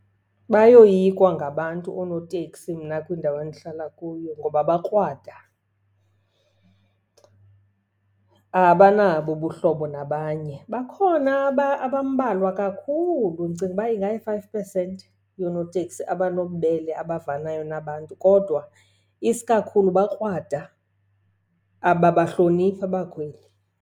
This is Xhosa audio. Bayoyikwa ngabantu oonoteksi mna kwindawo endihlala kuyo ngoba bakrwada, abanabo ubuhlobo nabanye. Bakhona abambalwa kakhulu, ndicinga uba ingayi-five percent yoonoteksi abanobubele abavanayo nabantu. Kodwa isikakhulu bakrwada, ababahloniphi abakhweli.